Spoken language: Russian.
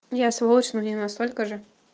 я сволочь но не настолько же